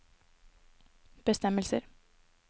bestemmelser